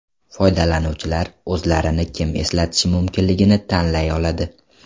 Foydalanuvchilar o‘zlarini kim eslatishi mumkinligini tanlay oladi.